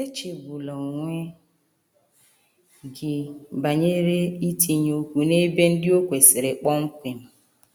Echegbula onwe gị banyere itinye okwu n’ebe ndị o kwesịrị kpọmkwem.